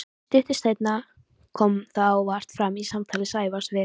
Stuttu seinna kom það óvart fram í samtali Sævars við